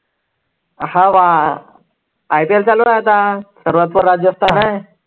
हवा IPL चालू आहे आता सर्वात पुढे राजस्थान आहे.